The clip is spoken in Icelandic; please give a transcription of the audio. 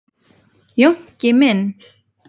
Jónki minn.